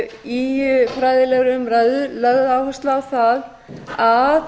í fræðilegri umræðu lögð áhersla á það að